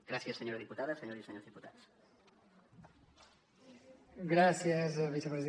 gràcies senyora diputada senyores i senyors diputats